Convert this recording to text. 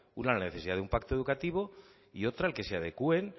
una la necesidad de un pacto educativo y otra el que se adecúen